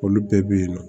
Olu bɛɛ bɛ yen nɔ